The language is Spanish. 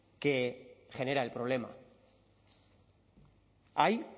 que genera el problema hay